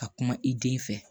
Ka kuma i den fɛ